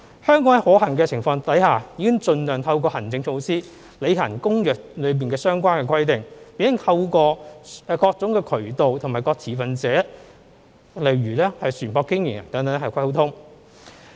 香港在可行的情況下已盡量透過行政措施履行《公約》的相關的規定，並透過各種渠道通知各持份者，如船舶經營人等作溝通。